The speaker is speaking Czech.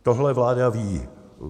Tohle vláda ví.